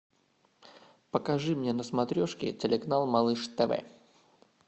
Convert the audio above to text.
покажи мне на смотрешке телеканал малыш тв